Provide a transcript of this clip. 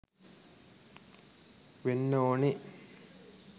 වෙන්න ඕනෙ.